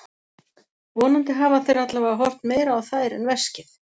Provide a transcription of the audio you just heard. Vonandi hafa þeir allavega horft meira á þær en veskið.